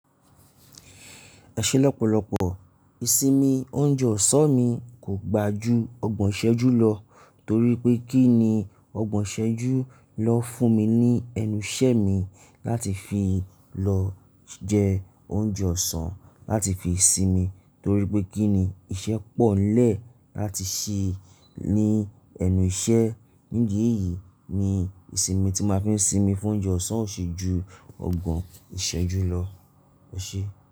Ẹ ṣé lọ́pọ̀lọ́pọ̀, ìsinmi oúnjẹ ọ̀sán mi kò gbà ju ọgbọ̀n ìṣẹ́jú lọ, torí pé kí ni ọgbọ̀n ìṣẹ́jú lọ fún mi ní ẹnu ìṣẹ mi láti fi lọ jẹ oúnjẹ ọ̀sán láti fi sinmi, torí pé kí ni iṣẹ́ pọ̀ nlẹ́ láti ṣe ní ẹnu iṣẹ́. Nídi èyí ni ìsinmi tí máa fi ń sinmi fún oúnjẹ ọ̀sán ò ṣe ju ọgbọ̀n ìṣẹ́jú lọ. Ọ ṣe?